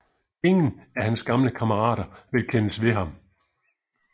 Ingen af hans gamle kammerater vil kendes ved ham